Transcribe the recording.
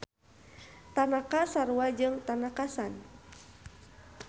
Tanaka sarua jeung Tanaka-san.